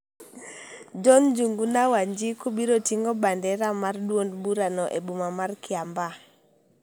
John Njuguna Wanjiku biro ting'o bandera mar duond burano e boma ma Kiambaa,